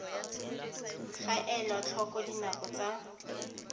ga elwa tlhoko dinako tsa